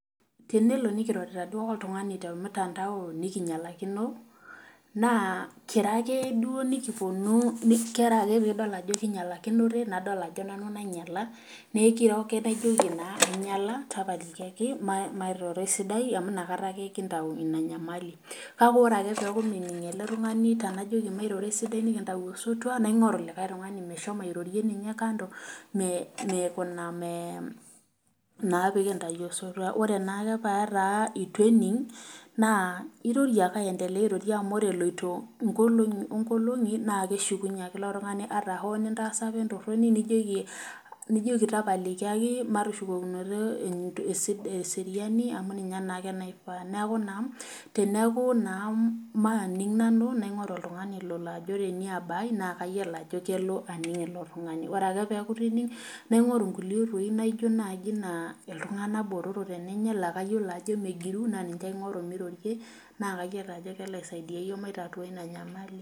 Tenelo duo nikirorita oltungani temtandao nikinyalakino naakiro duko ake ,ore pee kidol ajo kinyalakinote nadol ajo nanu nainyala naa ekiro nake najoki nanu nainyala tapalikiaki mairoro esidai amu inakata ake kintau ina nyamali ,kale ore ake peeku mening ele tungani tenajoki mairoro esidai nikintau osotua naingoru likae tungani meshomo airorie ninye kando naa pee kintau osotua. ore naake pee etaa eitu ening ,irorie ake aendelea airorie emu ore eloito nkolongi onkolingi naa keshukunye ake ilo tungani ata apa tenitaasi entoroni nijoki tapalikiaki matushukokinoro eseriani amu ninye naake naifaa .neeku naa teneeku nanu maaning naingoru oltungani Lolo ajo teniaba ai naa kayiolo ajo kelo ake ninye ilo tungani, ore ake pee eny naingoru nkulie oitoi naaji naijo iltunganak botorok la kayiolo ajo megiru naa kayiolo ajo kelo aisaidia yiok maitatua ina nyamali.